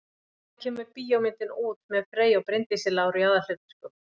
Hvenær kemur bíómyndin út með Frey og Bryndísi Láru í aðalhlutverkum?